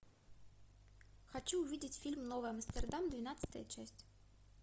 хочу увидеть фильм новый амстердам двенадцатая часть